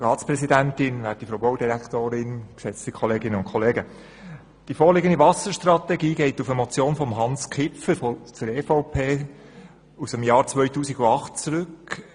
Die vorliegende Wasserstrategie geht auf eine Motion von Hans Kipfer von der EVP aus dem Jahr 2008 zurück.